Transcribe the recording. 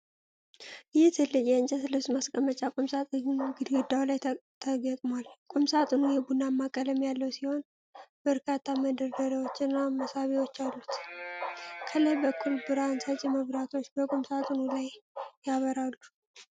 ይህ ትልቅ የእንጨት ልብስ ማስቀመጫ ቁምሳጥን ግድግዳ ላይ ተገጥሟል። ቁምሳጥኑ የቡናማ ቀለም ያለው ሲሆን፣ በርካታ መደርደሪያዎችና መሳቢያዎች አሉት። ከላይ በኩል ብርሃን ሰጪ መብራቶች በቁምሳጥኑ ላይ ያበራሉ።